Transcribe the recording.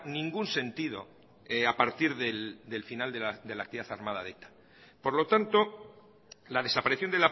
ningún sentido a partir del final de la actividad armada de eta por lo tanto la desaparición